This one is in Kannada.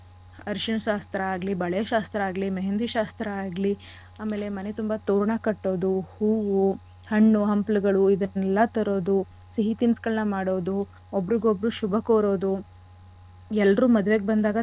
ಅರಿಶಿನ ಶಾಸ್ತ್ರ ಆಗ್ಲಿ ಬಳೆ ಶಾಸ್ತ್ರ ಆಗ್ಲಿ मेहँदी ಶಾಸ್ತ್ರ ಆಗ್ಲಿ ಆಮೇಲೆ ಮನೆ ತುಂಬಾ ತೋರಣ ಕಟ್ಟೋದು ಹೂವು ಹಣ್ಣು ಹಂಪ್ಲುಗಳು ಇದನ್ನೆಲ್ಲಾ ತರೋದು ಸಿಹಿ ತಿನಿಸ್ಗಳನ್ನ ಮಾಡೋದು ಒಬ್ರಿಗೊಬ್ರು ಶುಭ ಕೋರೋದು ಎಲ್ರು ಮದ್ವೆಗ್ ಬಂದಾಗ.